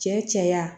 Cɛ caya